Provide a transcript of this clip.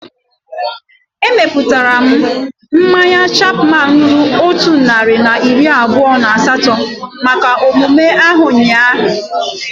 Emeputara m mmanya Chapman ruru otu narị na iri abụọ na asaa maka emume ahu ụnyaahụ